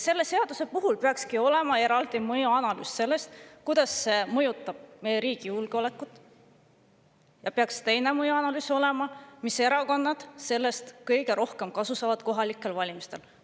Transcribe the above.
Selle seaduse puhul peaks olema eraldi mõjuanalüüs selle kohta, kuidas see mõjutab meie riigi julgeolekut, ja peaks olema ka teine mõjuanalüüs, selle kohta, mis erakonnad sellest kohalikel valimistel kõige rohkem kasu saavad.